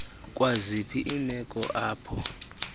kwaziphi iimeko apho